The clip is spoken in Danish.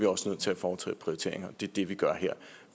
også nødt til at foretage prioriteringer og det er det vi gør her